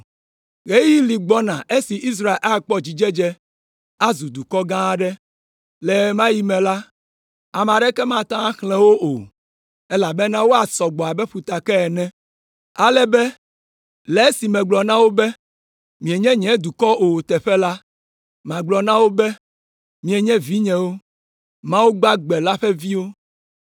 “Ɣeyiɣi li gbɔna esi Israel akpɔ dzidzedze, azu dukɔ gã aɖe; le ɣe ma ɣi me la, ame aɖeke mate ŋu axlẽ wo o, elabena woasɔ gbɔ abe ƒutake ene! Ale be, le esi megblɔ na wo be, ‘Mienye nye dukɔ o’ teƒe la, magblɔ na wo be, ‘Mienye vinyewo, Mawu Gbagbe la ƒe viwo.’